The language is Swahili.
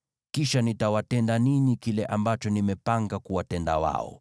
Kisha nitawatenda ninyi kile ambacho nimepanga kuwatenda wao.’ ”